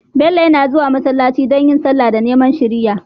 Bello yana zuwa masallaci don yin sallah da neman shiriya